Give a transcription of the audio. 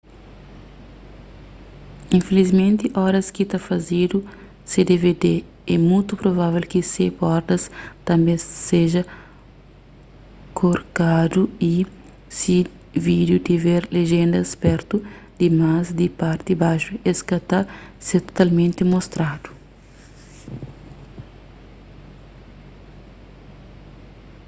infilismenti oras ki ta fazedu se dvd é mutu provável ki se bordas tanbê seja korkadu y si vídiu tiver lejéndas pertu dimás di parti baxu es ka ta ser totalmenti mostradu